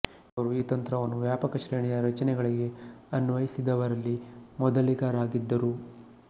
ಇವರು ಈ ತಂತ್ರವನ್ನು ವ್ಯಾಪಕ ಶ್ರೇಣಿಯ ರಚನೆಗಳಿಗೆ ಅನ್ವಯಿಸಿದವರಲ್ಲಿ ಮೊದಲಿಗರಾಗಿದ್ದರು